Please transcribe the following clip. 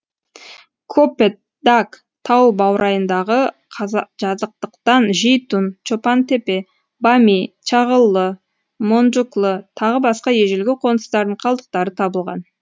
копетдаг тау баурайындағы жазықтықтан жейтун чопан тепе бами чағыллы монджуклы тағы басқа ежелгі қоныстардың қалдықтары табылған